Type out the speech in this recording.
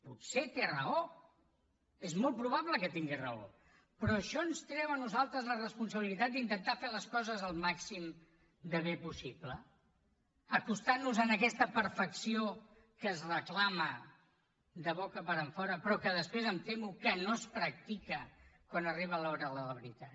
i potser té raó és molt probable que tingui raó però això ens treu a nosaltres la responsabilitat d’intentar fer les coses el màxim de bé possible acostant nos a aquesta perfecció que es reclama de boca enfora però que després em temo que no es practica quan arriba l’hora de la veritat